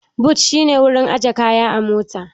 But shi ne wurin aje kaya a mota